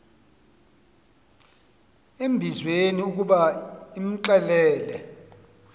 embizweni ukuba imxelele